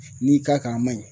N'i k'a kan a man ɲi